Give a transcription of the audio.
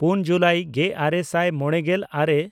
ᱯᱩᱱ ᱡᱩᱞᱟᱭ ᱜᱮᱼᱟᱨᱮ ᱥᱟᱭ ᱢᱚᱬᱮᱜᱮᱞ ᱟᱨᱮ